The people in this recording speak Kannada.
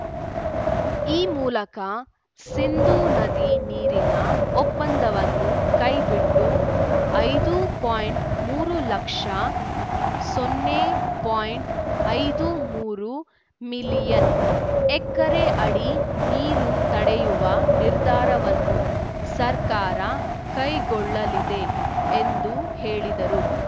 ಈ ಮೂಲಕ ಸಿಂಧೂ ನದಿ ನೀರಿನ ಒಪ್ಪಂದವನ್ನು ಕೈಬಿಟ್ಟು ಐದು ಪೋಯಿಂಟ್ ಮೂರು ಲಕ್ಷ ಸೊನ್ನೆ ಪೋಯಿಂಟ್ ಐದು ಮೂರು ಮಿಲಿಯನ್ ಎಕರೆ ಅಡಿ ನೀರು ತಡೆಯುವ ನಿರ್ಧಾರವನ್ನು ಸರ್ಕಾರ ಕೈಗೊಳ್ಳಲಿದೆ ಎಂದು ಹೇಳಿದರು